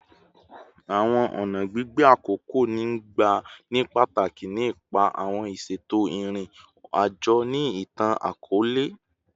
Awọn ọna gbigbe akoko n gba ni pataki ni ipa awọn iṣeto irin-ajo ni itan-akọọlẹ